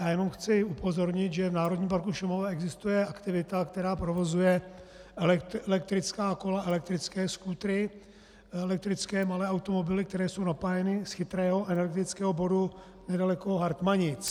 Já jenom chci upozornit, že v Národním parku Šumava existuje aktivita, která provozuje elektrická kola, elektrické skútry, elektrické malé automobily, které jsou napájeny z chytrého energetického bodu nedaleko Hartmanic.